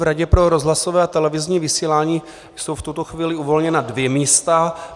V Radě pro rozhlasové a televizní vysílání jsou v tuto chvíli uvolněna dvě místa.